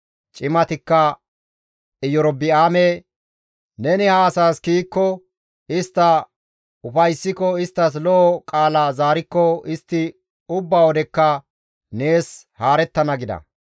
Cimatikka Erobi7aame, «Neni ha asaas kiyikko, istta ufayssiko isttas lo7o qaala zaarikko istti ubba wodekka nees haarettana» gida.